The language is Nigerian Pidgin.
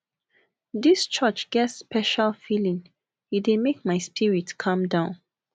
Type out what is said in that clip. dis church get special feeling e dey make my spirit calm down